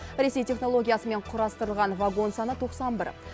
ресей технологиясымен құрастырылған вагон саны тоқсан бір